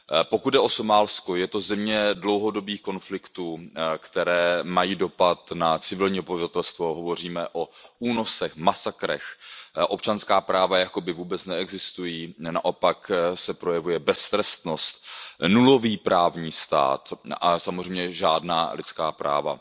Pokud jde o Somálsko, je to země dlouhodobých konfliktů, které mají dopad na civilní obyvatelstvo. Hovoříme o únosech, masakrech, občanská práva jakoby vůbec neexistují, naopak se projevuje beztrestnost, nulový právní stát a samozřejmě žádná lidská práva.